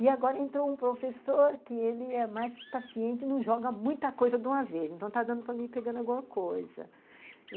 E agora entrou um professor que ele é mais paciente, não joga muita coisa de uma vez, então está dando para mim, ir pegando alguma coisa.